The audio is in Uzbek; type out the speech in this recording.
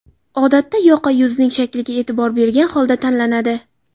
Odatda yoqa yuzning shakliga e’tibor bergan holda tanlanadi.